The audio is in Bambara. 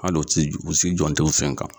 Hali u t'i u si jɔn tɛ u sen kan.